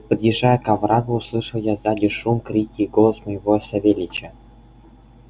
подъезжая к оврагу услышал я сзади шум крики и голос моего савельича